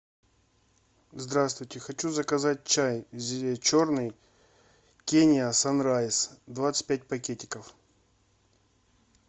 здравствуйте хочу заказать чай черный кения санрайз двадцать пять пакетиков